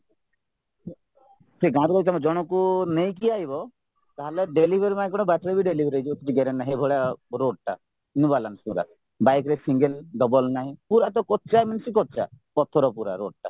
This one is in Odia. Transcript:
ସେ ଗାଁରୁ ଜଣଙ୍କୁ ନେଇକି ତାହାଲେ delivery ବାଟରେ delivery ହେଇଯିବେ କିଛି guarantee ନାହିଁ ଏଇଭଳିଆ roadଟା new balance ଗୁଡାକ bikeରେ single double ନାହିଁ ପୁରାତ କଚା means କଚା ପଥର ପୁରା roadଟା